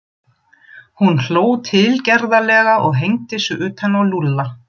Hún hló tilgerðarlega og hengdi sig utan á Lúlla.